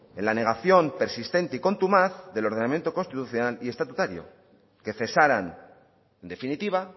en la negación persistente y contumaz del ordenamiento constitucional y estatutario que cesaran en definitiva